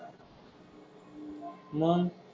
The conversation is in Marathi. मग?